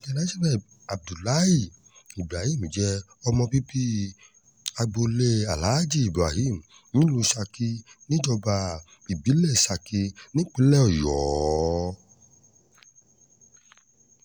internationl abdullahi ibrahim jẹ́ ọmọ bíbí agboolé aláàjì ibrahim nílùú saki níjọba ìbílẹ̀ saki nípínlẹ̀ ọ̀yọ́